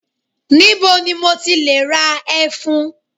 Níbo ni mo ti le ra ẹfun?